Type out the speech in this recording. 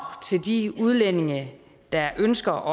til de udlændinge der ønsker